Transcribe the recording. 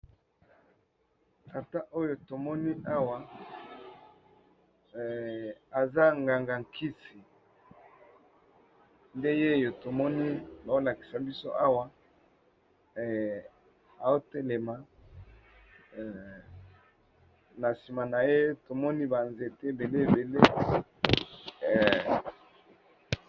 Tata oyo tomoni awa eza nganga nkisi nde ye oyo tomoni bolakisa biso awa aotelema na nsima na ye tomoni banzete ebele ebele.